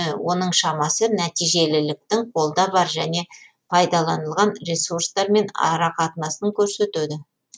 оның шамасы нәтижеліліктің қолда бар және пайдаланылған ресурстармен арақатынасын көрсетеді